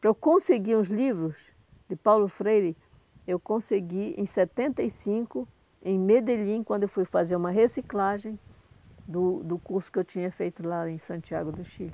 Para eu conseguir os livros de Paulo Freire, eu consegui em setenta e cinco, em Medellín, quando eu fui fazer uma reciclagem do do curso que eu tinha feito lá em Santiago do Chile.